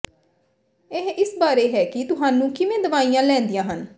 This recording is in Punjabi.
ਇਹ ਇਸ ਬਾਰੇ ਹੈ ਕਿ ਤੁਹਾਨੂੰ ਕਿਵੇਂ ਦਵਾਈਆਂ ਲੈਂਦੀਆਂ ਹਨ